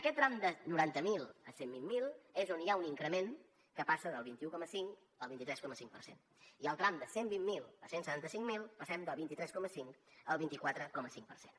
aquest tram de noranta miler a cent i vint miler és on hi ha un increment que passa del vint un coma cinc al vint tres coma cinc per cent i al tram de cent i vint miler a cent i setanta cinc mil passem del vint tres coma cinc al vint quatre coma cinc per cent